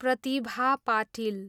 Pratibha Patil